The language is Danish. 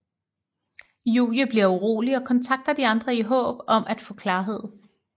Julie bliver urolig og kontakter de andre i håb om at få klarhed